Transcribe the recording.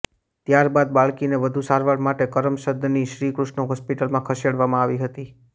ત્યારબાદ બાળકીને વધુ સારવાર માટે કરમસદની શ્રીકૃષ્ણ હોસ્પિટલમાં ખસેડવામાં આવી હતી